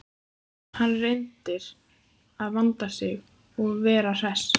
Hann reynir að vanda sig og vera hress.